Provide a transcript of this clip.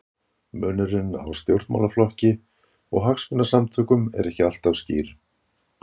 Munurinn á stjórnmálaflokki og hagsmunasamtökum er ekki alltaf skýr.